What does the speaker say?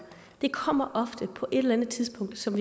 kommer det på et eller andet tidspunkt som